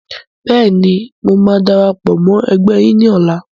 Bẹ́ẹ̀ni, mo máa darapọ̀ mọ́ ẹgbẹ́ yìí ni ọ̀la.